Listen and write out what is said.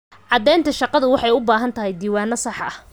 Caddaynta shaqadu waxay u baahan tahay diiwaanno sax ah.